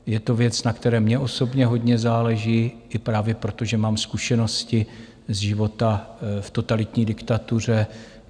Je to věc, na které mně osobně hodně záleží i právě proto, že mám zkušenosti ze života v totalitní diktatuře.